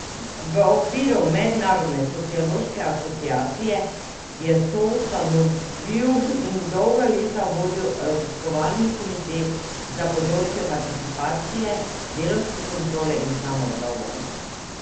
V okviru Mednarodne sociološke asociacije je soustanovil in dolga leta vodil raziskovalni komite za področje participacije, delavske kontrole in samoupravljanja.